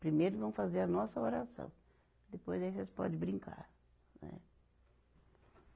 Primeiro vamos fazer a nossa oração, depois aí vocês podem brincar, né.